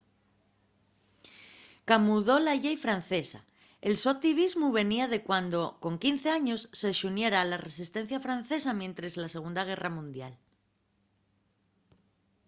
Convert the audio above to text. camudó la llei francesa el so activismu venía de cuando con 15 años se xuniera a la resistencia francesa mientres la segunda guerra mundial